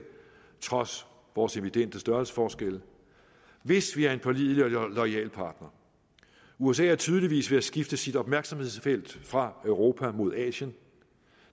trods vores evidente størrelsesforskelle hvis vi er en pålidelig og loyal partner usa er tydeligvis ved at skifte sit opmærksomhedsfelt fra europa mod asien